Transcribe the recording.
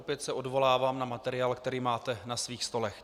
Opět se odvolávám na materiál, který máte na svých stolech.